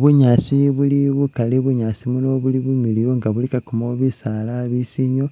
Bunyaasi buli bukaali bunyaasi buno buli bumiliyu nga bulikakamo bisaala bisiili,